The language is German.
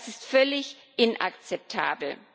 Das ist völlig inakzeptabel.